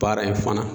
Baara in fana